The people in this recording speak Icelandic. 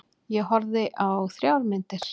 Ég horfði á þrjár myndir.